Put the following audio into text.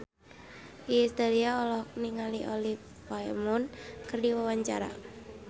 Iis Dahlia olohok ningali Olivia Munn keur diwawancara